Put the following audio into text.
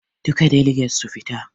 Duka daliget su fita.